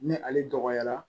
Ni ale dɔgɔyara